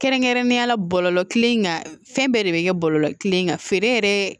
Kɛrɛnkɛrɛnnenya la bɔlɔlɔ kelen kan fɛn bɛɛ de bɛ kɛ bɔlɔlɔ kelen kan feere yɛrɛ